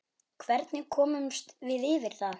Hvernig komumst við yfir það?